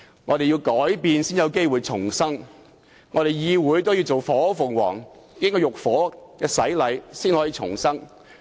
我們必須改變才有機會重生，議會也要做火鳳凰，要經過浴火的洗禮才得以重生。